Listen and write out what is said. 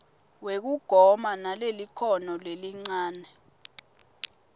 wekugoma kunalelikhono lelincane